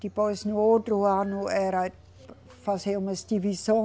Depois, no outro ano, era fazer umas divisão